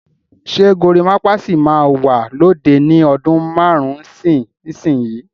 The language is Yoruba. Ṣé gorimapa sì máa wà lóde ni ọdún márùn-ún sí ìsinsìnyí?